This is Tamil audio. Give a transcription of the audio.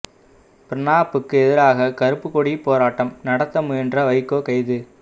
பிரணாப்புக்கு எதிராக கருப்புக் கொடி போராட்டம் நடத்த முயன்ற வைகோ கைது